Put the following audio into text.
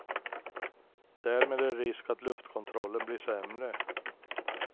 Därmed är det risk att luftkontrollen blir sämre.